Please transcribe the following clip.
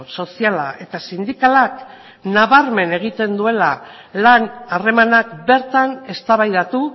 soziala eta sindikalak nabarmen egiten duela lan harremanak bertan eztabaidatu